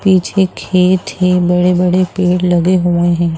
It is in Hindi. पीछे खेत है बड़े बड़े पेड़ लगे हुए हैं।